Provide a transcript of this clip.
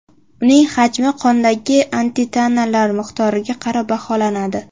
Uning hajmi qondagi antitanalar miqdoriga qarab baholanadi.